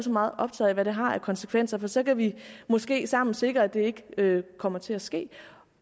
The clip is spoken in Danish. meget optaget af hvad det har af konsekvenser for så kan vi måske sammen sikre at det ikke kommer til at ske